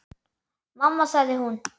Mamma sagði hún.